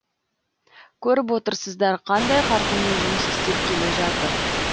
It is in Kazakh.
көріп отырсыздар қандай қарқынмен жұмыс істеп келе жатыр